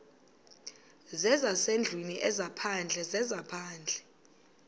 zezasendlwini ezaphandle zezaphandle